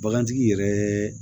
Bagantigi yɛrɛ